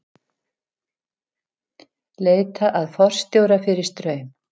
Leita að forstjóra fyrir Straum